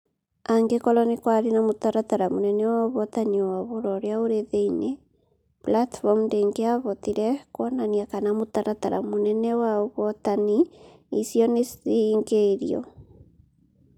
Angĩkorũo nĩ kwarĩ na mũtaratara mũnene wa ũhotani wa Ũhoro ũrĩa ũrĩ thĩinĩ, platform ndĩngĩahotire kuonania kana mũtaratara mũnene wa ũhotani icio nĩ cihingĩirio.